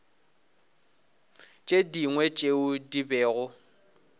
tše dingwe tšeo di bego